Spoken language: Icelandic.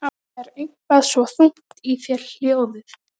Það er eitthvað svo þungt í þér hljóðið.